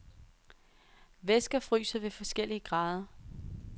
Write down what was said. Væsker fryser ved forskellige grader.